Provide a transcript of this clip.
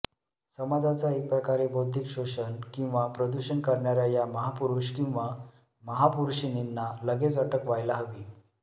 समाजाचं एकप्रकारे बौद्धिक शोषण किंवा प्रदूषण करणाऱ्या या महापुरुष किंवा महापुर्षीणींना लगेच अटक व्हायला हवी